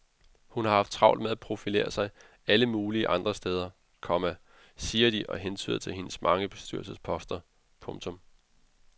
Hun har haft travlt med at profilere sig selv alle mulige andre steder, komma siger de og hentyder til hendes mange bestyrelsesposter. punktum